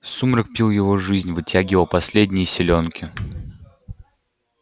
сумрак пил его жизнь вытягивал последние силёнки